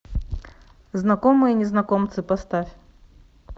знакомые незнакомцы поставь